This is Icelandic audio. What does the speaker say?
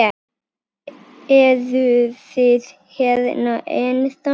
Eruð þið hérna ennþá?